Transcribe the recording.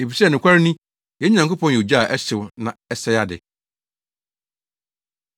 efisɛ nokware ni, yɛn Nyankopɔn yɛ ogya a ɛhyew na ɛsɛe ade.